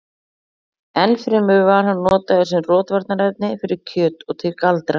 enn fremur var hann notaður sem rotvarnarefni fyrir kjöt og til galdra